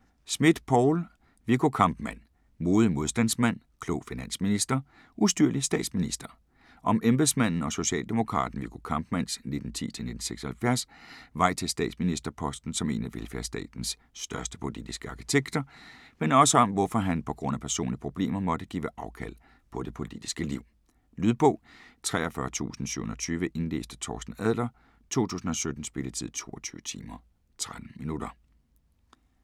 Smidt, Poul: Viggo Kampmann: modig modstandsmand, klog finansminister, ustyrlig statsminister Om embedsmanden og socialdemokraten Viggo Kampmanns (1910-1976) vej til statsministerposten som en af velfærdstatens største politiske arkitekter, men også om hvorfor han pga. personlige problemer måtte give afkald på det politiske liv. Lydbog 43720 Indlæst af Torsten Adler, 2017. Spilletid: 22 timer, 13 minutter.